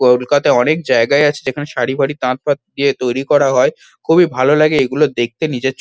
কলকাতায় অনেক জায়গায় আছে যেখানে সরি ফারি তাঁত ফাত দিয়ে তৈরি করা হয়। খুবই ভালো লাগে এইগুলো দেখতে নিজের চো--